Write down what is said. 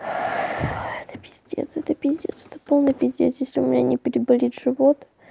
это пиздец это пиздец это полный пиздец если у меня не переболит живот